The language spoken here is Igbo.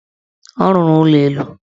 Ọ rụrụ ụlọelu.